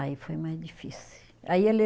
Aí foi mais difícil. Aí ele